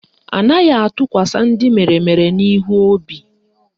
Anaghị atụkwasa ndị meremere n'ihu obi